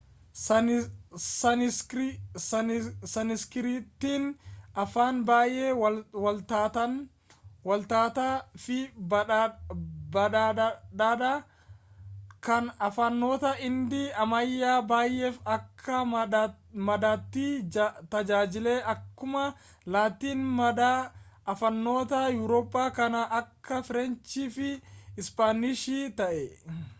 saaniskiriitiin afaan baay'ee walxaxaa fi badhaadhaadha kan afaanota hindii ammayyaa baay'eef akka maddaatti tajaajile akkuma laatiin madda afaanota awurooppaa kan akka fireenchii fi ispaanishii ta'e